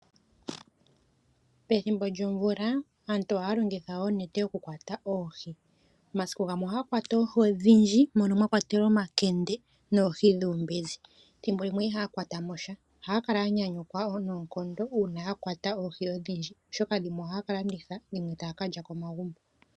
Pethimbo lyoomvula aantu ohaya longitha oonete oku kwata oohi. Omasiku gamwe ohaa kwata oohi odhindji mono mwa kwatelwa omakende noohi dhuumbezi. Ethimbo limwe ihaa kwata mo sha. Oha ya kala ya nyanyukwa wo noonkondo uuna ya kwata oohi odhindji oshoka dhimwe oha ya ka landitha dhimwe ta ya ka lya komagumbo.